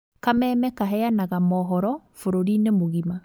Kameme kaheanaga mohoro bũrũri-inĩ mũgima